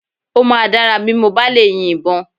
Ó máa dára bí mo bá lè yin ìbọn